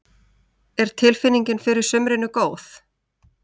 Er tilfinningin fyrir sumrinu góð?